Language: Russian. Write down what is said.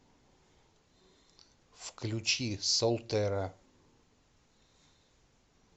включи солтера